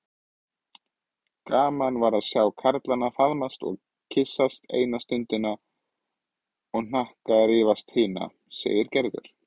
Gaman var að sjá karlana faðmast og kyssast eina stundina og hnakkrífast hina segir Gerður.